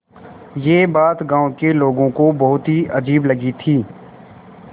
यह बात गाँव के लोगों को बहुत ही अजीब लगी थी